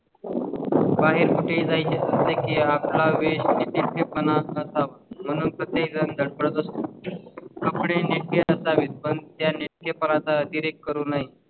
बाहेर कुठे जाय चं की आपल्याकडे नीटनेटके पण असावा, म्हणून प्रत्येक जण धडपडत असतो कपडे नेटकेच असावए पण त्या नेटकेपणाचा अतिरेक करू नये.